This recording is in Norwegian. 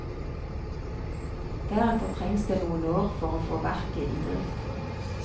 Deretter trengs det noen år for å få verket i drift.